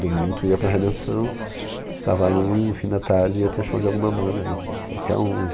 Domingo tu ia para a Redenção, ficava ali no fim da tarde e ia ter show de alguma banda, q qualquer uma.